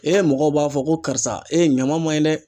mɔgɔw b'a fɔ ko karisa ɲama ma ɲi dɛ.